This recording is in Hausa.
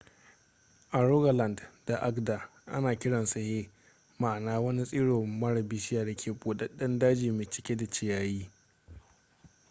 a rogaland da agder ana kiransu hei ma'ana wani tsiro mara bishiya da ke budadden daji mai cike da ciyayi